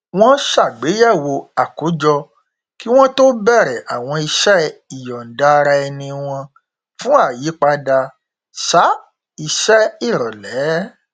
wọn ṣàgbéyẹwò àkójọ kí wọn tó bẹrẹ àwọn iṣẹ ìyọndaaraẹni wọn fún àyípadà um iṣẹ ìrọlẹ